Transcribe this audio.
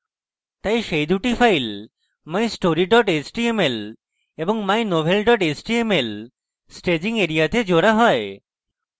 তাই সেই দুটি files mystory html এবং mynovel html staging এরিয়াতে জোড়া হয়